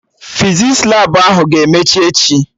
Fizis Labụ ahụ ga-emechi emechi